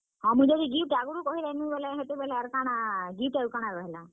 ମୁଇଁ ଯଦି gift ଆଗରୁ କହିଦେମି ବେଲେ ହେତେବେଲେ ଆର୍ କାଣା gift ଆଉ କାଣା ରହେଲା।